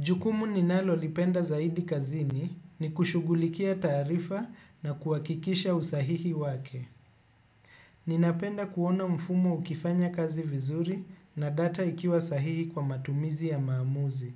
Jukumu ninalolipenda zaidi kazini ni kushughulikia taarifa na kuhakikisha usahihi wake. Ninapenda kuona mfumo ukifanya kazi vizuri na data ikiwa sahihi kwa matumizi ya maamuzi.